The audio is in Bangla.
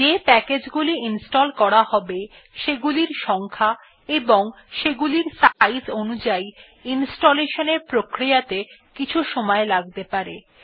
যে প্যাকেজগুলির ইনস্টল করা হবে সেগুলির সংখ্যা এবং সেগুলির সাইজ অনুযাই ইনস্টলেশন এর প্রক্রিয়া ত়ে কিছু সময় লাগতে পারে